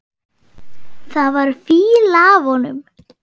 Það var fýla af honum.